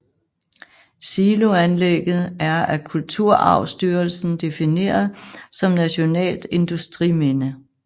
Siloanlægget er af Kulturarvsstyrelsen defineret som nationalt industriminde